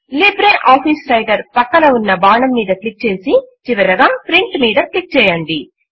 LibreOffice Writer ప్రక్కన ఉన్న బాణం మీద క్లిక్ చేసి చివరిగా Printమీద క్లిక్ చేయండి